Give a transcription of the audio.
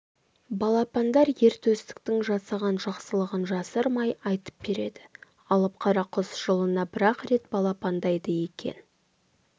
балапандар ер төстіктің жасаған жақсылығын жасырмай айтып береді алып қара құс жылына бір-ақ рет балапандайды екен